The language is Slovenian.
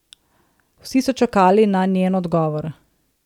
Vsi so čakali na njen odgovor.